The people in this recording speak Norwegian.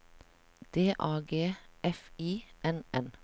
D A G F I N N